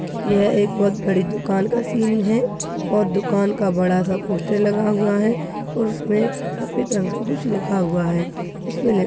यह एक बहुत बड़ी दुकान का सीन है और दुकान का बड़ा सा पोस्टर लगा हुआ है और उसमे सफेद रंग से कुछ लिखा हुआ है उसपे लिख --